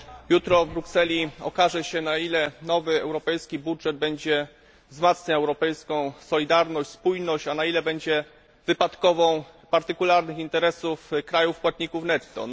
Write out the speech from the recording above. Jutro w Brukseli okaże się, na ile nowy europejski budżet będzie wzmacniał europejską solidarność, spójność, a na ile będzie wypadkową partykularnych interesów krajów płatników netto.